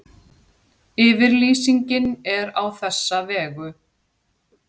Yfirlýsingin er á þessa vegu